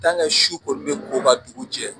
su kɔni bɛ ko ka dugu jɛ